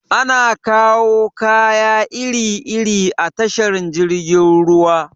Ana kawo kaya iri iri a tashar jirgin ruwa.